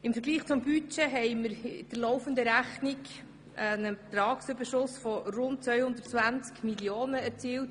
Im Vergleich zum Budget haben wir in der laufenden Rechnung einen Ertragsüberschuss von rund 220 Mio. Franken erzielt.